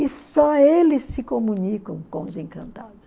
E só eles se comunicam com os encantados.